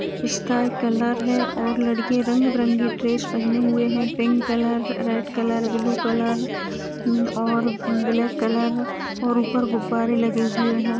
Sky colour है और लड़के रंग बिरंगे ड्रेस पहने हुए हैं pink colour red colour blue colour और ब्लैक कलर और ऊपर गुब्बारे लगे हुए हैं ।